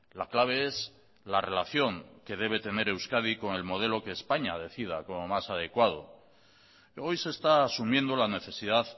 la clave es la relación que debe tener euskadi con el modelo que españa decida como más adecuado hoy se está asumiendo la necesidad